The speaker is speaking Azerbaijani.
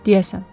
Deyəsən.